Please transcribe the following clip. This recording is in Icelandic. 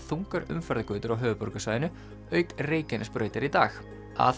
þungar umferðargötur á höfuðborgarsvæðinu auk Reykjanesbrautar í dag að